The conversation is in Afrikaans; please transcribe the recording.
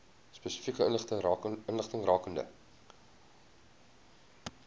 spesifieke inligting rakende